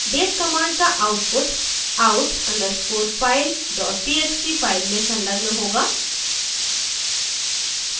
date command का output out _ underscore file dot txt file में संलग्न होगा